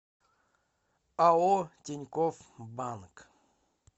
ао тинькофф банк